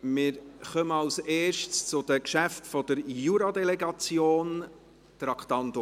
Wir kommen als Erstes zu den Geschäften der Jura-Delegation, Traktandum 16.